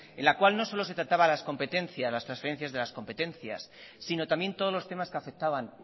en la cual no solo se trataba las competencias las transferencias de las competencias sino también todos los temas que afectaban